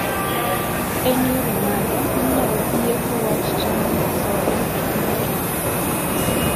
en yore mage manyalo ieko wach chamo asoya e piny kenya